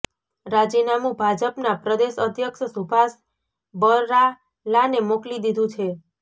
રાજીનામું ભાજપના પ્રદેશ અધ્યક્ષ સુભાષ બરાલાને મોકલી દીધું છે